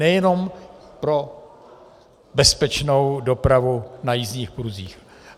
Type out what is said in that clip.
Nejenom pro bezpečnou dopravu na jízdních pruzích.